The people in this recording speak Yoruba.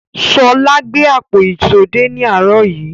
Ṣọlá gbé àpò ìṣó dé ní àárọ̀ yìí.